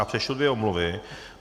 Já přečtu dvě omluvy.